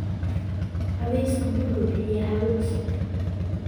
Cawsku wuxuu bixiyaa hawo cusub.